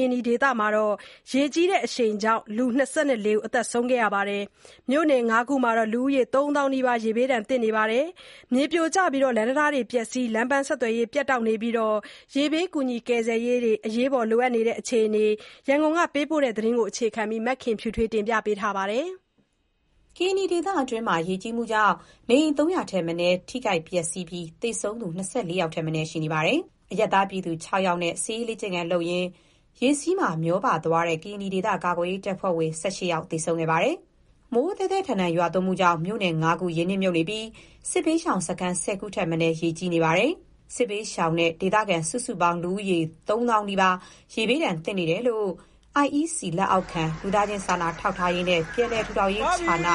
ရင်နီဒေသမှာ ရေကြီးတဲ့အရှိန်ကြောင့် ၂၄ ဦးသေဆုံးခဲ့ပြီး မြို့နယ် ၅ ခုမှာ လူဦးရေ ၃၀၀၀၀ နီးပါး ရေဘေးဒဏ် သင့်နေပါတယ်။ မြေပြိုကျပြီး လမ်းတံတားတွေ ပျက်စီးပြီး လမ်းပန်းဆက်သွယ်ရေးတွေ ပြတ်နေပါတယ်။ ရေဘေးအကူညအညီတွေလည်း အရေးပေါ် လိုအပ်နေတဲ့ အခြေအနေအကြောင်း ရန်ကုန်ကပေးပို့တဲ့သတင်းကို အခြေခံပြီး တင်ပြထားပါတယ်။ ကရင်နီဒေသအတွင်းမှာရေကြီးမှုကြောင့် နေအိမ် ၃၀၀ ထက်မနည်းပျက်စီးပြီး သေဆုံးသူ ၂၄ ယောက်ထက်မနည်း ရှိနေပါတယ်။ အရပ်သားပြည်သူ ၆ ယောက်နဲ့ လေ့ကျင့်ရင်း ရေစီးမှာမျောသွားတဲ့ ကရင်နီဒေသ ကာကွယ်ရေးတပ်ဖွဲ့ဝင် ၁၈ ယောက်သေဆုံးခဲ့ပါတယ်။ မိုးသည်းထန်စွာ ရွာသွန်းမှုကြောင့် မြို့နယ် ၅ ခု ရေကြီးနစ်မြှုပ်နေပြီး စစ်ဘေးရှောင်စခန်း ၁၀ ခု ထက်မနည်း ရေကြီးနစ်မြှုပ်နေပါတယ်။ စစ်ဘေးရှောင်နဲ့ ဒေသခံ စုစုပေါင်း လူဦးရေ သုံးသောင်း နီးပါး ရေဘေးသင့်နေတယ်လို့ IEC လက်အောက်ခံ လူသားချင်းစာနာထောက်ထားရေးနဲ့ ပြန်လည် ထူထောင်ရေးဌာနရဲ့ ဌာန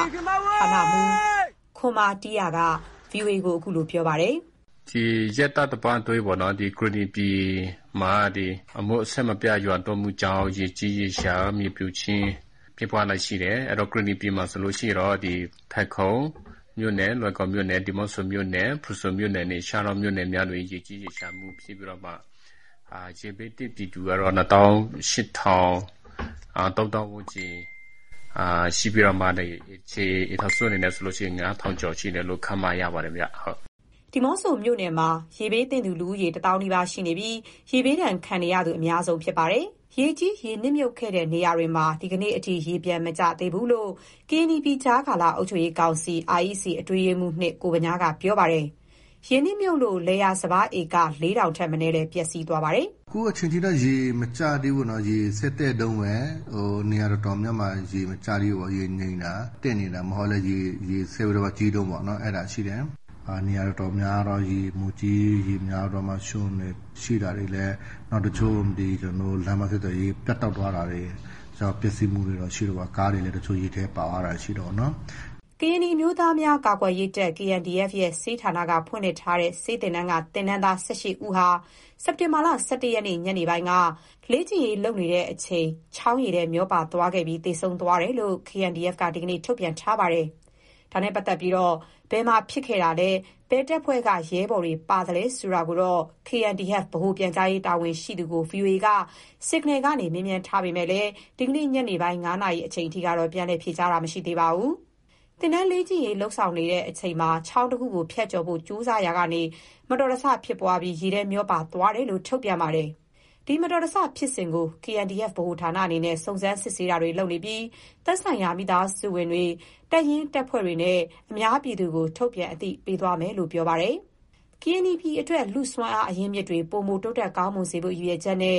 မှူး ခွံမာတီးယာ က ဗွီအိုအေကို ခုလို ပြောပါတယ်။ “ဒီရက်သတ္တပတ်အတွင်းပေ့ါနော် ဒီကရင်နီပြည်မှာ မိုးအဆက်မပြတ်ရွာသွန်းမှုကြောင့် ရေကြီးရေလျှံခြင်း မြေပြိုခြင်းဖြစ်ပွားလျက်ရှိတယ်။ အဲ့တော့ ကရင်နီပြည်မှာဆိုလို့ရှိရင် ဖယ်ခုံမြို့နယ် လွိုင်ကော်မြို့နယ် ဒီးမော့ဆိုမြို့နယ် ဖရူဆိုမြို့နယ်နဲ့ ရှားတောမြို့နယ်မှာ ရေကြီးရေလျှံဖြစ်ပြီးတော့ ရေဘေးသင့်ပြည်သူကတော့ နှစ်သောင်း ရှစ်ထောင်၊ သုံးသောင်းဝန်းကျင်ရှိပြီးတော့မှ အိမ်ခြေ အိမ်ထောင်စု အနေနဲ့ဆိုလို့ရှိရင် ငါးထောင်ကျော်ရှိတယ်လို့ ခန့်မှန်းရပါတယ်။” ဒီးမော့ဆိုမြို့နယ်က လူဦးရေ တစ်သောင်း နီးပါးနဲ့ ရေဘေးဒဏ်ခံနေရသူ အများဆုံး ဖြစ်ပါတယ်။ ရေကြီးနစ်မြှုပ်ခဲ့တဲ့နေရာမှာ ဒီနေ့ထိ ရေပြန်မကျသေးလို့ ကရင်နီပြည်ကြားကာလ အုပ်ချုပ်ရေးကောင်စီ အတွင်းရေးမှူး ကိုဗညားက ပြောပါတယ်။ ရေနစ်မြှုပ်လို့ လယ်ယာစပါး ဧက ၄၀၀၀ ထက်မနည်းလည်း ပျက်စီးကုန်ပါတယ်။ “အခုချိန်ထိတော့ ရေမကျသေးဘူးနော်။ ရေဆက်တက်တုန်းပဲ။ နေရာတော်တော်များများမှာ ရေမကျသေးဘူး ရေငြိမ်တာ တက်နေတာ မဟုတ်လည်း ရေဆက်ပြီးကြီးတုန်းပေါ့ အဲ့ဒါရှိတယ်။ နေရာတော်တော်များများတော့ ရေမိုးကြီး ရေများပြီးတော့ ရွှံ့ရှိတာ၊ တချို့ လမ်းပန်းဆက်ရေး ပြတ်တောက်သွားတာတွေ တချို့ပျက်စီးမှုတွေ ရှိတယ်ပေါ့။ ကားတွေလည်း တချို့ရေထဲ ပါသွားတာရှိတယ်ပေါ့နော်။” ကရင်နီအမျိုးသားများကာကွယ်ရေးတပ် ရဲ့ ဆေးဌာနက ဖွင့်လှစ်ထားတဲ့ ဆေးသင်တန်းက သင်တန်းသား ၁၈ ဦးဟာ စက်တင်ဘာ ၁၁ ရက်နေ့ ညနေက သင်ခန်းစာအတွက် လေ့ကျင့်ရေးလုပ်နေတဲ့အချိန် ချောင်းရေထဲ မျောပါသွားပြီး သေဆုံးသွားတယ်လို့ KNDF က ဒီနေ့ ထုတ်ပြန်ထားပါတယ်။ ဒါနဲ့ ပတ်သက်လို့ ဘယ်မှာဖြစ်တာလဲ၊ ဘယ်တပ်ဖွဲ့က ရဲဘော်တွေပါသလဲဆိုတာနဲ့ပတ်သက်လို့ KNDF ဗဟိုပြန်ကြားရေးတာဝန်ရှိသူကို VOA က Signal ကနေ မေးမြန်းထားပေမယ့် ဒီနေ့ ညနေပိုင်း ၅ နာရီအထိ ပြန်လည်ဖြေကြားတာ မရှိသေးပါဘူး။ သင်တန်းလေ့ကျင့်ရေးဆောင်နေစဉ် ချောင်းတခုကို ဖြတ်ကျော်ဖို့ ကြိုးစားရာကနေ မတော်တဆ ဖြစ်ပွားကာ ရေထဲမျောပါ သွားတယ်လို့ ထုတ်ပြန်ထားပါတယ်။ ဒီမတော်တဆဖြစ်စဉ်ကို KNDF ဗဟိုဌာနအနေနဲ့ စုံစမ်းစစ်ဆေးမှုပြုပြီး သက်ဆိုင်ရာ မိသားစုဝင်တွေ တပ်ရင်းတပ်ဖွဲ့တွေနဲ့ အများပြည်သူကို ထုတ်ပြန်အသိပေးသွားမယ်လို့ ဆိုပါတယ်။ ကရင်နီပြည်အတွက် လူ့စွမ်းအားအရင်းအမြစ်တွေ ပိုမိုတိုးတက်ကောင်းမွန်စေဖို့ ရည်ရွယ်ချက်နဲ့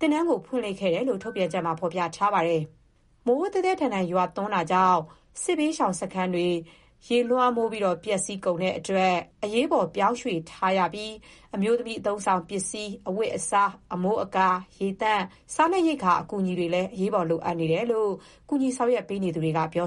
သင်တန်းကို ဖွင့်လှစ်ခဲ့တယ်လို့ ထုတ်ပြန်ချက်မှာ ဖော်ပြထားပါတယ်။ မိုးသည်းထန်စွာ ရွာသွန်းမှုကြောင့် စစ်ဘေးရှောင်စခန်းတွေ ရေလွှမ်းမိုး ပျက်စီးကုန်တာကြောင့် အရေးပေါ်ပြောင်းရွှေ့ထားတဲ့အတွက် အမျိုးသမီး အသုံးအဆောင်ပစ္စည်း၊ အဝတ်အစား၊ အမိုးအကာ၊ ရေသန့်၊ စားနပ်ရိက္ခာ အကူအညီ အရေးပေါ်လိုအပ်နေတာလို့ အကူအညီပေးနေသူတွေက ပြော